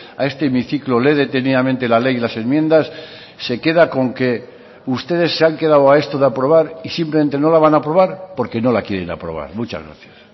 a este hemiciclo lee detenidamente la ley y las enmiendas se queda con que ustedes se han quedado a esto de aprobar y simplemente no la van a aprobar porque no la quieren aprobar muchas gracias